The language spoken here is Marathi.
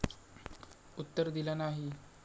उत्तर दिलं नाही.